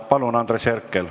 Palun, Andres Herkel!